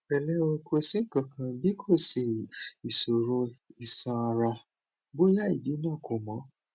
pẹlẹ o ko si nkankan bikoṣe iṣoro iṣanara boya idi naa ko mọ